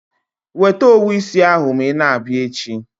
Weta owu isi ahụ ma ị na-abịa echi.